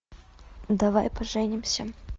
давай поженимся